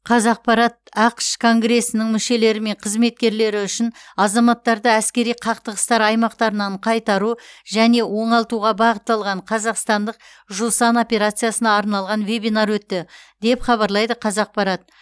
қазақпарат ақш конгресінің мүшелері мен қызметкерлері үшін азаматтарды әскери қақтығыстар аймақтарынан қайтару және оңалтуға бағытталған қазақстандық жусан операциясына арналған вебинар өтті деп хабарлайды қазақпарат